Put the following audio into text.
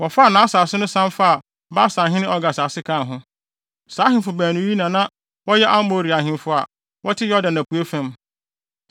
Wɔfaa nʼasase no san faa Basanhene Og asase kaa ho. Saa ahemfo baanu yi na wɔyɛ Amorifo ahemfo a wɔte Yordan apuei fam.